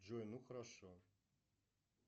джой ну хорошо